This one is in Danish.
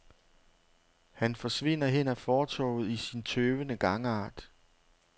Han forsvinder hen ad fortovet i sin tøvende gangart.